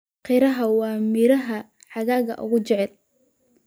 Qaraha waa midhaha xagaaga ugu jecel.